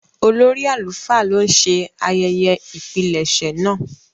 Olórí àlùfáà ló ń ṣe ayẹyẹ ìpilẹ̀ṣẹ̀ náà.